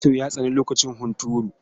Kyankyaso ya tsani lokacin hunturu.